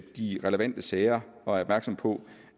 de relevante sager og er opmærksom på